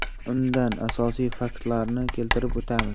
Undan asosiy faktlarni keltirib o‘tamiz.